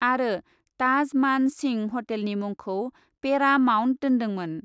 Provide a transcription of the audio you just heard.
आरो ताज मान सिंह हटेलनि मुंखौ पेरा माउन्ट दोन्दोंमोन ।